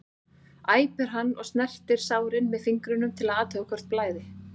æpir hann og snertir sárin með fingrunum til að athuga hvort blæði.